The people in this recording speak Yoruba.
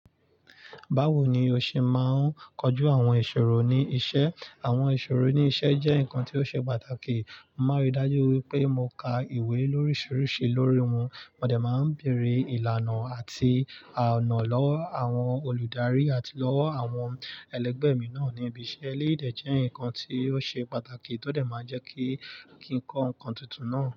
Báwo ni o ṣe máa ń kojú àwọn ìṣòro ní iṣẹ́? Àwọn ìṣòro ní iṣẹ́ jẹ́ nǹkan tí ó ṣe pàtàkì. Mo máa rí i dájú wípé mo ka ìwé lóríṣiríṣi lórí wọn. Mo dẹ̀ máa ń beèrè ìlànà àti ànà lọ́wọ́ àwọn olùdarí àti lọ́wọ́ àwọn ẹlẹgbẹ́ mi náà níbi iṣẹ́. Eléyì dẹ̀ jẹ́ ǹkan tí ó ṣe pàtàkì tó dẹ̀ máa ń jẹ́ kí, ki n kọ́ ǹkan tuntun náà.